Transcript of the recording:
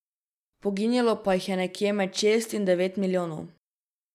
Poginilo pa jih je nekje med šest in devet milijonov.